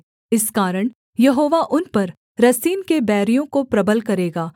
इस कारण यहोवा उन पर रसीन के बैरियों को प्रबल करेगा